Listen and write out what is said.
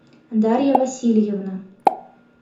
дарья васильевна